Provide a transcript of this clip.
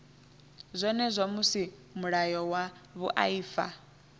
zwenezwo musi mulayo wa vhuaifa